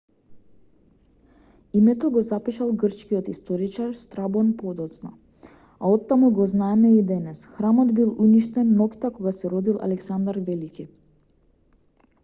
името го запишал грчкиот историчар страбон подоцна а оттаму го знаеме и денес храмот бил уништен ноќта кога се родил александар велики